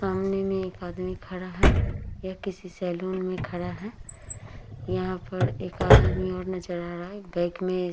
सामने में एक आदमी खड़ा है। ये किसी सेलून में खड़ा है। यहाँ पर एकाद आदमी और नजर आ रहा है। बैक में --